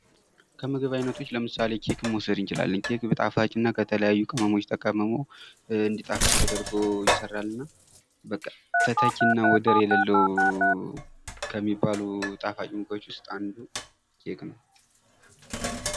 ከምግብ አይነቶች ለምሳሌ ኬክን መውሰድ እንችላለን ኬክ ጣፋጭና ከተለያዩ ቅመሞች ተቀምሞ እንዲጣፍጥ ተደርጎ ይሰራልናል :: በቃ ተተኪና ወደር የሌለው ከሚባሉ ጣፋጭ ምግቦች ውስጥ አንዱ ኬክ ነው ::